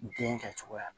Den kɛ cogoya la